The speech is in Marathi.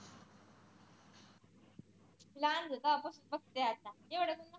लाहान होते तेव्हा पासून बघते आता एवढं पण